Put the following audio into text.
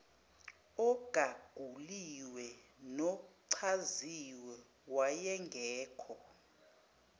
ogaguliwe nochaziwe wayengekho